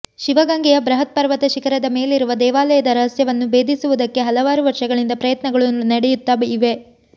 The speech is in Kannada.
ಶಿವಗಂಗೆಯ ಬೃಹತ್ ಪರ್ವತ ಶಿಖರದ ಮೇಲಿರುವ ದೇವಾಲಯದ ರಹಸ್ಯವನ್ನು ಬೇಧಿಸುವುದಕ್ಕೆ ಹಲವಾರು ವರ್ಷಗಳಿಂದ ಪ್ರಯತ್ನಗಳು ನಡೆಯುತ್ತಾ ಇವೆ